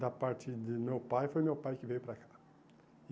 Da parte do meu pai, foi meu pai que veio para cá.